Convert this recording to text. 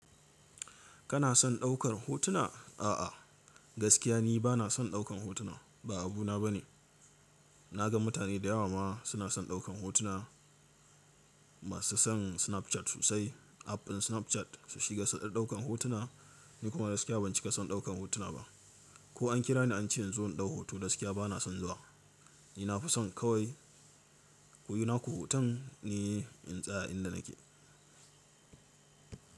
Kana son daukar hotuna? A'a, gaskiya ni ba na son daukan hotuna, ba abuna bane. Na ga mutane da yawa ma suna son daukan hotuna. Masu son Snapchat sosai, app ɗin Snapchat su shiga su dadd daukan hotuna, ni kuma gaskiya ban cika son daukan hotuna ba. Ko an kira ni an ce in zo in ɗau hoto gaskiya bana son zuwa. Ni na fi son kawai kuyi naku hoton ni in tsaya inda nake.